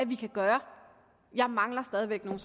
vi kan gøre jeg mangler stadig væk nogle